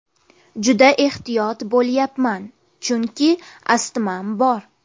Juda ehtiyot bo‘lyapman, chunki astmam bor.